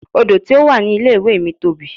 Odò tí ó wà ní ilé ìwé mi tóbi.